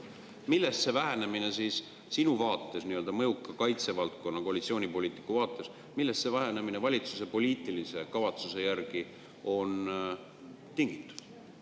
Millest see vähenemine sinu kui kaitsevaldkonna mõjuka koalitsioonipoliitiku valitsuse poliitilise kavatsuse järgi on tingitud?